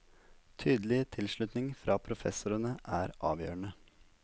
Tydelig tilslutning fra professorene er avgjørende.